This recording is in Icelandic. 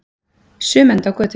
Sum enda á götunni.